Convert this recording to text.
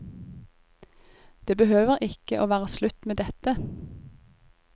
Det behøver ikke å være slutt med dette.